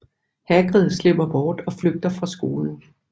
Hagrid slipper bort og flygter fra skolen